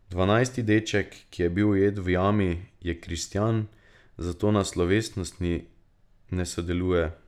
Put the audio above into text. Dvanajsti deček, ki je bil ujet v jami, je kristjan, zato na slovesnosti ne sodeluje.